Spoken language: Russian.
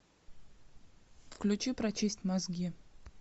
включи прочисть мозги